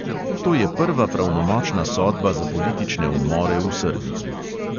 To je prva pravnomočna sodba za politične umore v srbiji.